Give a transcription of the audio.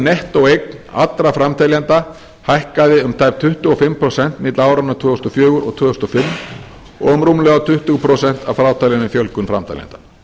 nettóeign allra framteljenda hækkaði um tæp tuttugu og fimm prósent milli áranna tvö þúsund og fjögur og tvö þúsund og fimm og um rúmlega tuttugu prósent að frátalinni fjölgun framteljenda